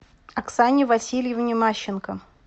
оксане васильевне мащенко